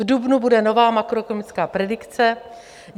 V dubnu bude nová makroekonomická predikce.